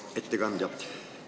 Hea ettekandja!